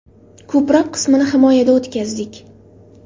Ko‘proq qismini himoyada o‘tkazdik.